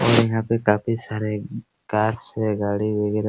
और यहाँ पे काफी सारे कार्स है गाड़ी वगेरा --